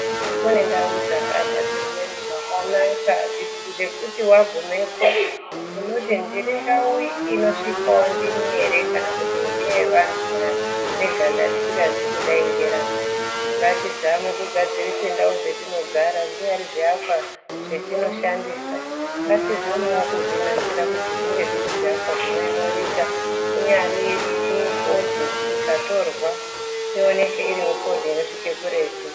Kune ndau dzakagadzirwe zvakanaka zvekuti wagumepo ,unoti ndiri ndau unosvikwawo ndini ere kana kuti ndeye antu eganda risingazi kudai ngerangu , ngatizame kugadzirise ndau dzatinogara zvinyari zviakwa zvatinoshandisa ngatizamewo kuzvinasira kuti zviyevo zvirizviakwa zvinoemurika inyari photo ikatorwa inoonekerwo yosvika kuretu.